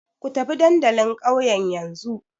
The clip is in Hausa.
Ku tafi dandalin ƙauyen yanzu!